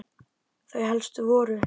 Þau helstu voru